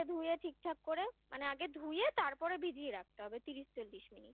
তারপরে ধুয়ে ঠিকঠাক করে মানে আগে ধুয়ে তারপরে ভিজিয়ে রাখতে হবে তিরিশ চল্লিশ মিনিট